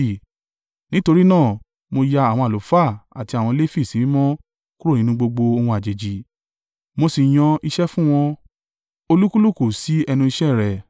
Nítorí náà, mo ya àwọn àlùfáà àti àwọn Lefi sí mímọ́ kúrò nínú gbogbo ohun àjèjì, mo sì yan iṣẹ́ fún wọn, olúkúlùkù sí ẹnu iṣẹ́ rẹ̀.